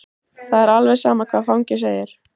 Það er alveg sama hvað fangi segir.